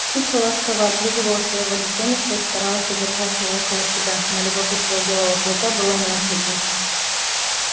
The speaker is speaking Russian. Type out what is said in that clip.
кичи ласково облизывала своего детёныша и старалась удержать его около себя но любопытство белого клыка было ненасытно